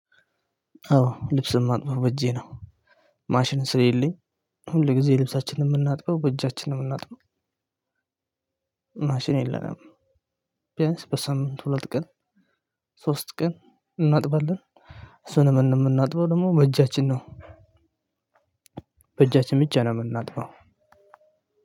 አዎ ልብስ የማጥበው በእጄ ነው። ማሽን ስለሌለኝ ሁል ጊዜ ልብሳችንን የምናጥበው በእጃችን ነው የምናጥበው። ማሽን የለንም። ቢያንስ በሳምንት ሁለት ቀን ሶስት ቀን እናጥባለን። እሱንም የምናጥበው ደግሞ በእጃችን ነው። በእጃችን ብቻ ነው የምናጥፋው።